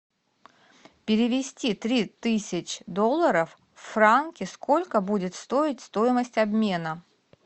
перевести три тысяч долларов в франки сколько будет стоить стоимость обмена